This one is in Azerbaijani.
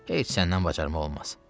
Heç səndən bacarmaq olmaz."